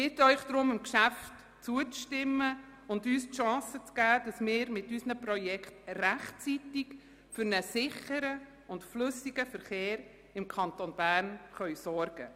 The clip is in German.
Ich bitte Sie deshalb diesem Geschäft zuzustimmen und uns die Chance zu geben, mit unseren Projekten rechtzeitig für einen sicheren und flüssigen Verkehr im Kanton Bern zu sorgen.